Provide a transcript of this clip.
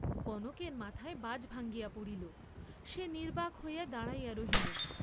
কনকের মাথায় বাজ ভাঙ্গিয়া পড়িল, সে নির্ব্বাক হইয়া দাঁড়াইয়া রহিল।